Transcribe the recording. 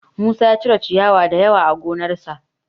Musa ya cire ciyawa da yawa a gonarsa